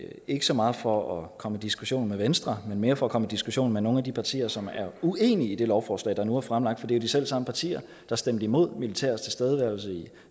ikke så meget for at komme i diskussion med venstre men mere for at komme i diskussion med nogle af de partier som er uenige i det lovforslag der nu er fremlagt for det er de selv samme partier der stemte imod militærets tilstedeværelse i